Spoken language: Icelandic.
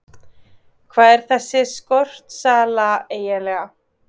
Hvað er þessi skortsala eiginlega?